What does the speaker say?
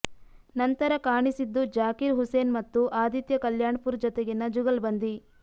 ನಂತರ ಕಾಣಿಸಿದ್ದು ಜಾಕೀರ್ ಹುಸೇನ್ ಮತ್ತು ಆದಿತ್ಯ ಕಲ್ಯಾಣ್ಪುರ್ ಜತೆಗಿನ ಜುಗಲ್ಬಂದಿ